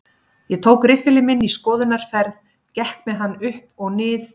Ég tók riffilinn minn í skoðunarferð, gekk með hann upp og nið